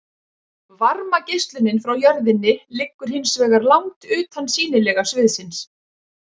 varmageislunin frá jörðinni liggur hins vegar langt utan sýnilega sviðsins